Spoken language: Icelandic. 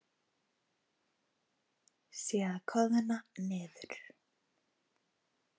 Sé að koðna niður.